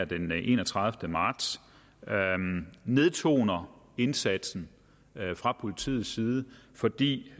den enogtredivete marts nedtoner indsatsen fra politiets side fordi